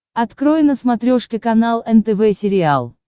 открой на смотрешке канал нтв сериал